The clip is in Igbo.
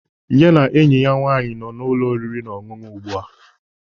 Ya na enyi ya nwaanyị nọ n'ụlọ oriri na ọṅụṅụ ugbua